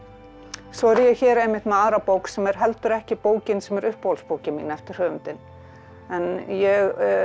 svo er ég hér einmitt með aðra bók sem er heldur ekki bókin sem er uppáhaldsbókin mín eftir höfundinn en ég